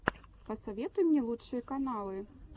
посоветуй мне лучшие каналы